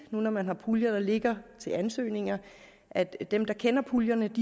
når man har puljer der ligger til ansøgning at at dem der kender puljerne